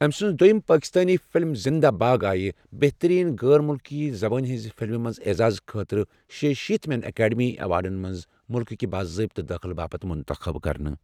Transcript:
أمہِ سٕنٛز دوٚیِم پاکِستٲنۍ فِلِم زِنٛدہ بھاگ آیہِ بہتٔریٖن غٲر ملکی زبٲنۍ ہِنٛزِ فِلمہِ ہِنٛدِ اعزاز خٲطرٕ شیٚیہ شیٖت مٮ۪ن ایٚکیڈمی ایٚوارڈزن منٛز ملکہٕ کہِ بٲضٲبطہٕ دٲخلہٕ باپتھ مُنتٔخب کرنہٕ۔